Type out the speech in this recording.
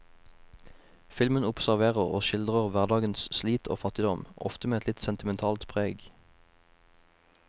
Filmen observerer og skildrer hverdagens slit og fattigdom, ofte med et litt sentimentalt preg.